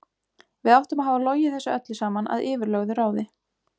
Við áttum að hafa logið þessu öllu saman að yfirlögðu ráði.